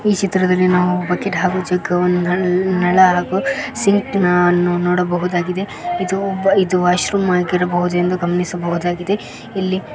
ಈ ಚಿತ್ರದಲ್ಲಿ ನಾವು ಬಕಿಟ್ ಹಾಗು ಜಗ್ಗುವನ್ನು ನಳ್ ನಳ ಹಾಗು ಸಿಂಕನ್ನು ನೋಡಬಹುದಾಗಿದೆ ಇದು ವಾಶ್ರೂಮ್ ಆಗಿರಬಹುದು ಎಂದು ಗಮನಿಸಬಹುದಾಗಿದೆ ಇಲ್ಲಿ--